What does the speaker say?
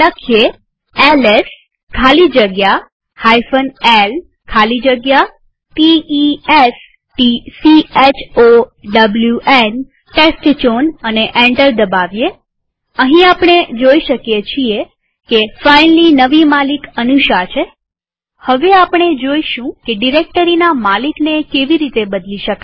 લખીએ હવે એલએસ ખાલી જગ્યા l ખાલી જગ્યા t e s t c h o w ન એન્ટર દબાવીએઅહીં આપણે જોઈ શકીએ છીએ કે ફાઈલની નવી માલિક અનુષા છે હવે આપણે જોઈશું કે ડિરેક્ટરીના માલિકને કેવી રીતે બદલી શકાય